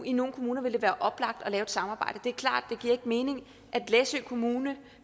i nogle kommuner vil være oplagt at lave et samarbejde det er klart at giver mening at læsø kommune